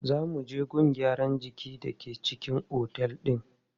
Za mu je gun gyaran jiki da ke cikin otel din.